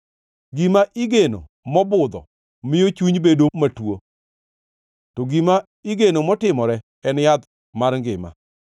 Gima igeno mobudho miyo chuny bedo matuo, to gima igeno motimore en yath mar ngima.